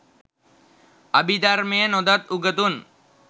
අභිධර්මය නොදත් උගතුන්